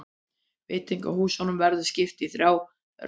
Veitingahúsunum verður skipt í þrjá riðla